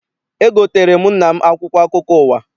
Egoteere m nna m akwụkwọ akụkọ ụwa.